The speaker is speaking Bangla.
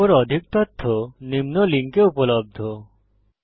এর উপর অধিক তথ্য নিম্ন লিঙ্কে উপলব্ধ